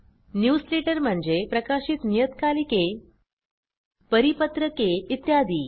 newsletter म्हणजे प्रकाशित नियतकालिके परिपत्रके इत्यादी